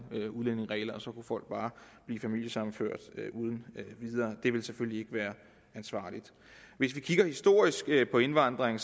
udlændingeregler så kunne folk bare blive familiesammenført uden videre det ville selvfølgelig ikke være ansvarligt hvis vi kigger historisk på indvandringen